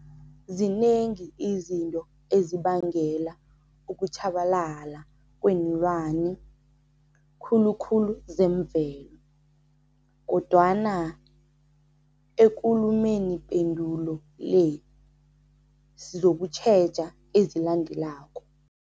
Zinengi izinto ezibangela ukutjhabalala kweenlwani, khulukhulu zemvelo, kodwana ekulumenipendulo le, sizokutjheja ezilandelako.